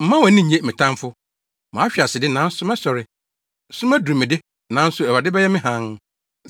Mma wʼani nnye, me tamfo! Mahwe ase de, nanso mɛsɔre. Sum aduru me de, nanso Awurade bɛyɛ me hann.